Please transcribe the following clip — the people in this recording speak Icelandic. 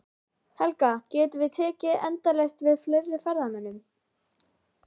Helga, getum við tekið endalaust við fleiri ferðamönnum?